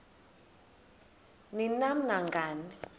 ni nam nangani